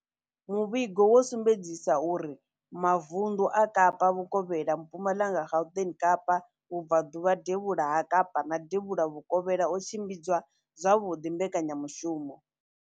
Muvhigo wo sumbedzisa uri mavundu a Kapa Vhukovhela, Mpumalanga, Gauteng, Kapa Vhubva ḓuvha, Devhula ha Kapa na Devhula Vhukovhela o tshimbidza zwavhuḓi mbekanya mushumo.